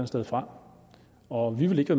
sted fra og vi vil ikke